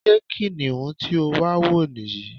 Ṣé kìnìún tí o wà wo ní yí?